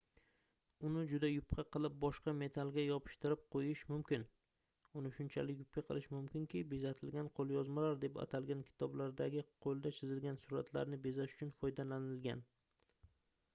uni juda yupqa qilib boshqa metallga yopishtirib qoʻyish mumkin uni shunchalik yupqa qilish mumkinki bezatilgan qoʻlyozmalar deb atalgan kitoblardagi qoʻlda chizilgan suratlarni bezash uchun foydalanilgan